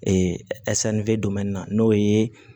Ee n'o ye